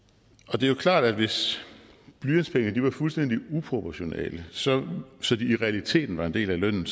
det er jo klart at hvis blyantspengene var fuldstændig uproportionale så så de i realiteten var en del af lønnen